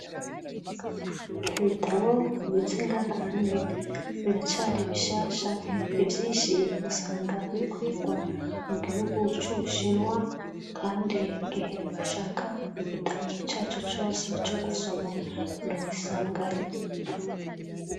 Ibitabo bibitse ngaha anye biracari bishasha ivyinshi usanga bikorerwa mugihugu c'ubushinwa, kandi igihe ushaka igitabu carico cose cogusoma, uragisangayo.